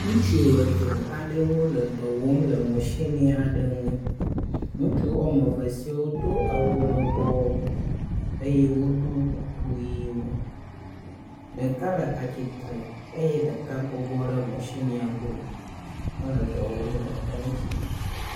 Ŋutsu eve wole dɔ wɔm le matsini aɖe ŋu, ŋutsu woame eve sia wodo awu lɔbɔ eye woɖo kuku ʋɛ̃wo. Ɖeka le atsitre eye ɖeka bɔbɔ ɖe matsinia gbɔ hele dɔ wɔm le eŋuti.